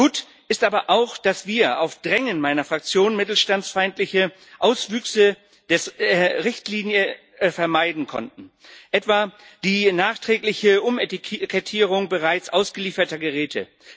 Gut ist aber auch, dass wir auf Drängen meiner Fraktion mittelstandsfeindliche Auswüchse der Richtlinie vermeiden konnten, etwa die nachträgliche Umetikettierung bereits ausgelieferter Geräte.